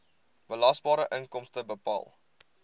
belasbare inkomste bepaal